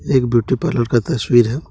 एक beauty parlour का तस्वीर है।